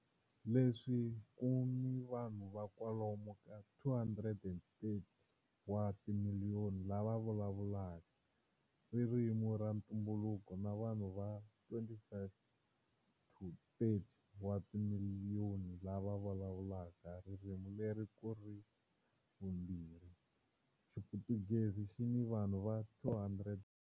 Leswi ku nga ni vanhu va kwalomu ka 230 wa timiliyoni lava vulavulaka ririmi ra ntumbuluko na vanhu va 25-30 wa timiliyoni lava vulavula ririmi leri kuri ra vumbirhi, Xiputukezi xi ni vanhu va 200.